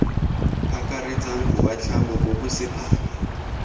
akaretsang boatlhamo bo bo sephara